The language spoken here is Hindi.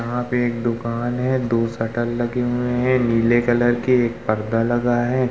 यहाँ पे एक दुकान हैं। दो शटर लगे हुए हैं नीले कलर के एक पर्दा लगा है।